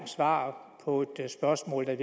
svar på et spørgsmål der i